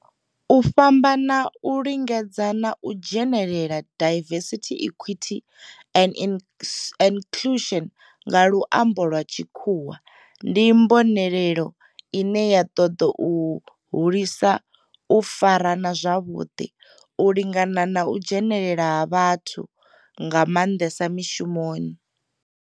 U fhambana, u lingana na u dzhenelela diversity, equity and inclusion nga lwambo lwa tshikhuwa ndi mbonelelo ine ya toda u hulisa u farana zwavhudi, u lingana na u dzhenelela ha vhathu nga mandesa mishumoni.